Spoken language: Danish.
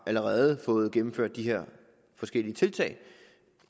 allerede har fået gennemført disse forskellige tiltag